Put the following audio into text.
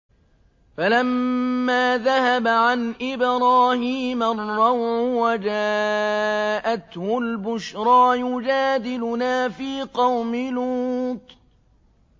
فَلَمَّا ذَهَبَ عَنْ إِبْرَاهِيمَ الرَّوْعُ وَجَاءَتْهُ الْبُشْرَىٰ يُجَادِلُنَا فِي قَوْمِ لُوطٍ